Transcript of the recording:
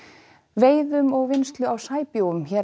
veiðum og vinnslu á sæbjúgum hér